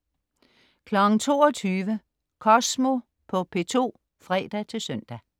22.00 Kosmo på P2 (fre-søn)